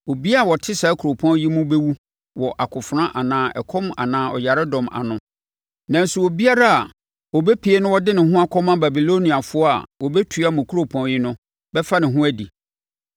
Obiara a ɔte saa kuropɔn yi mu bɛwu wɔ akofena anaa ɛkɔm anaa ɔyaredɔm ano. Nanso obiara ɔbɛpue na ɔde ne ho akɔma Babiloniafoɔ a wɔabɛtua mo kuropɔn yi no, bɛfa ne ho adi.